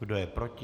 Kdo je proti?